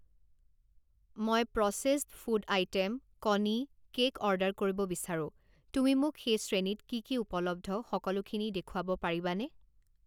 মই processed food item, কণী, cake order কৰিব বিচাৰোঁ, তুমি মোক সেই শ্ৰেণীত কি কি উপলব্ধ সকলোখিনি দেখুৱাব পাৰিবানে?